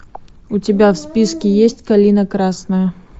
у тебя в списке есть калина красная